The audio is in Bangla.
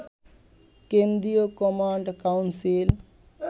কেন্দ্রীয় কমান্ড কাউন্সিল